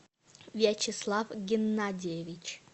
вячеслав геннадьевич